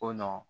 Ko nɔ